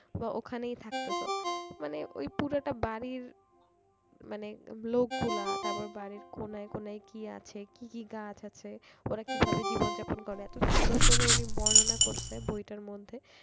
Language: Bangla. বা ওখানেই থাকতেছো মানে ওই পুরোটা বাড়ির মানে লোকগুলা তারপর বাড়ির কোনায় কোনায় কি আছে কি কি গাছ আছে ওরা কিভাবে জীবন যাপন করে এত সুন্দর করে উনি বর্ণনা করেছে বইটার মধ্যে